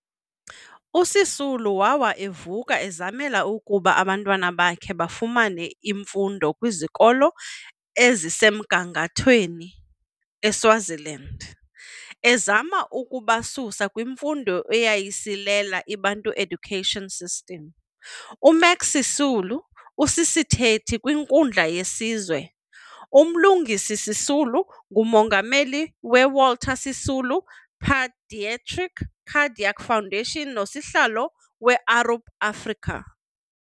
USisulu wawa evuka ezamela ukuba abantwana bakhe bafumane imfundo kwizikolo ezisemgangatheni eSwaziland ezama ukubasusa kwimfundo eyayisilela iBantu Education System. UMax Sisulu usisithethi kwinkundla yesizwe, uMlungisi Sisulu ngumongameli we-Walter Sisulu pedietric Cardiac Foundation nosihlalo we-Arup Africa.